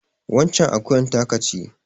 Waccen akuyar taka ce.